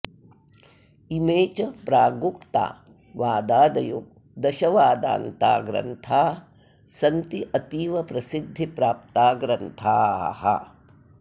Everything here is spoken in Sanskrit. इमे च प्रागुक्ता वादादयो दश वादान्ता ग्रन्था सन्ति अतीव प्रसिद्धि प्राप्ता ग्रन्थाः